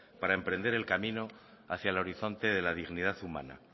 para emprender el camino hacia el horizonte de la dignidad humana